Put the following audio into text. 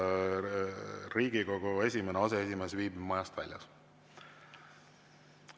Riigikogu esimene aseesimees viibib majast väljas.